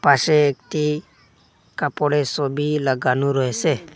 পাশে একটি কাপড়ের সবি লাগানো রয়েসে।